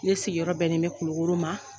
Ne sigiyɔrɔ bɛnnen bɛ Kulukɔrɔ ma.